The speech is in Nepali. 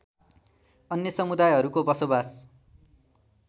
अन्य समुदायहरूको बसोबास